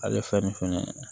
Ale fɛn nin fɛnɛ